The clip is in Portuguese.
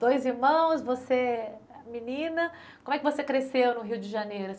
Dois irmãos, você menina, como é que você cresceu no Rio de Janeiro?